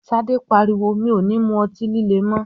Ṣadé pariwo "mi ò ní mú ọtí líle mọ!́".